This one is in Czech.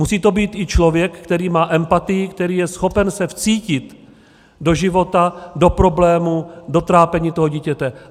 Musí to být i člověk, který má empatii, který je schopen se vcítit do života, do problémů, do trápení toho dítěte.